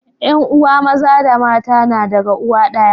yan uwa Maza da mata na daga uwa daya